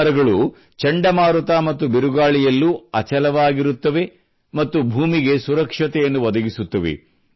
ಈ ಮರಗಳು ಚಂಡಮಾರುತ ಮತ್ತು ಬಿರುಗಾಳಿಯಲ್ಲೂ ಅಚಲವಾಗಿರುತ್ತವೆ ಮತ್ತು ಭೂಮಿಗೆ ಸುರಕ್ಷತೆಯನ್ನು ಒದಗಿಸುತ್ತವೆ